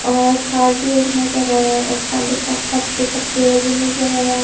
और कार भी एक नज़र आ रहा है और काले का पत्ते का पेड़ भी नज़र आ रहा है।